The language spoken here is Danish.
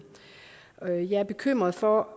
jeg er bekymret for